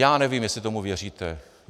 Já nevím, jestli tomu věříte.